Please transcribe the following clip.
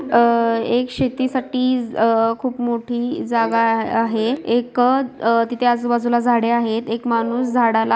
अ एक शेतीसाठी अ खुप मोठी जागा आहे एक अ तिथे आजूबाजूला झाड़े आहत एक माणूस झाडाला --